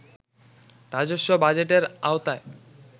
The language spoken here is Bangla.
রাজস্ব বাজেটের আওতায়